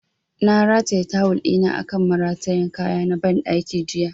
Na rataya tawul ɗina akan maratayan kaya na ban ɗaki jiya